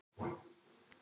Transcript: Öll helgin komin í þrot.